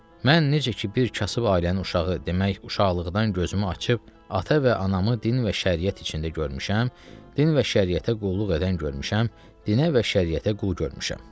Mən necə ki bir kasıb ailənin uşağı demək uşaqlıqdan gözümü açıb ata və anamı din və şəriət içində görmüşəm, din və şəriətə qulluq edən görmüşəm, dinə və şəriətə qul görmüşəm.